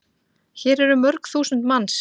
Hér eru mörg þúsund manns.